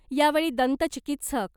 यावेळी दंत चिकित्सक